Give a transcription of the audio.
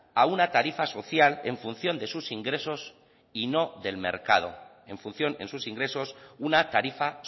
a una tarifa social en función de sus ingresos y no del mercado en función en sus ingresos una tarifa